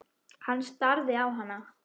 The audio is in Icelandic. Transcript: Hann starði á hana.